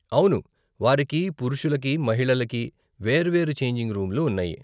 అవును, వారికి పురుషులకి, మహిళలకి వేర్వేరు ఛేంజింగ్ రూములు ఉన్నాయి .